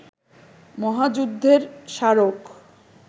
মহাযুদ্ধের স্মারক